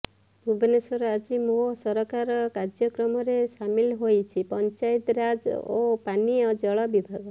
ଭୁବନେଶ୍ବର ଆଜି ମୋ ସରକାର କାର୍ଯ୍ୟକ୍ରମରେ ସାମିଲ ହୋଇଛି ପଞ୍ଚାୟତିରାଜ ଓ ପାନୀୟ ଜଳ ବିଭାଗ